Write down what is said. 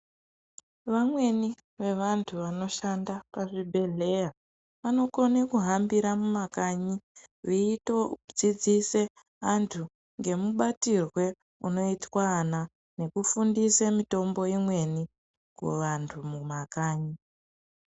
Vamweni vevantu vanoshanda pazvibhedhleya vanokone kuhambira mumakanyi veitodzidzise antu ngemubatirwe unoitwe ana, nekufundise mitombo imweni kuvantu mumakanyi.